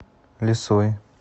лисой